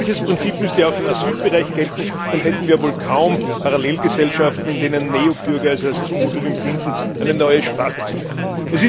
Ein solches Prinzip müsste auch im Asylbereich gelten, dann hätten wir ja wohl kaum Parallelgesellschaften, in denen Neubürger es als Zumutung empfinden, eine neue Sprache zu lernen.